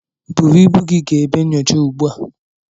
Buru ibu gị gaa ebe nyocha ugbu a.